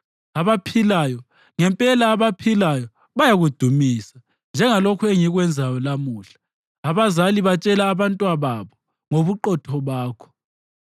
Abaphilayo, ngempela abaphilayo, bayakudumisa njengalokhu engikwenzayo lamuhla; abazali batshela abantwababo ngobuqotho bakho.